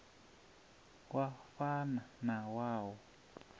wa fana na wa u